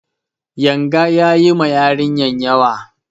Yanga ya yi ma yarinyar yawa.